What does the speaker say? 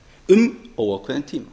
um óákveðinn tíma